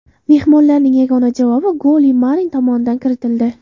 Mehmonlarning yagona javob goli Marin tomonidan kiritildi.